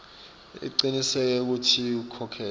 ucinisekise kutsi ukhokhela